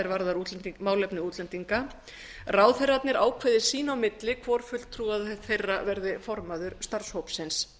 varðar málefni útlendinga ráðherrarnir ákveði sín á milli hvor fulltrúa þeirra verði formaður starfshópsins